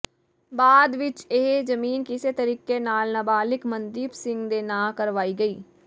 ਬਾਅਦ ਵਿਚ ਇਹ ਜ਼ਮੀਨ ਕਿਸੇ ਤਰੀਕੇ ਨਾਲ ਨਾਬਾਲਿਗ ਮਨਦੀਪ ਸਿੰਘ ਦੇ ਨਾਂ ਕਰਵਾਈ ਗਈ